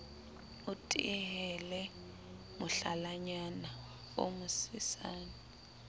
o tehele mohlalanyana o mosesane